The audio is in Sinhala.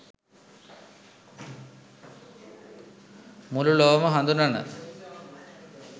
මුළු ලොවම හඳුනන